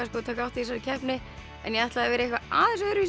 að taka þátt í þessari keppni en ég ætlaði að vera í aðeins öðruvísi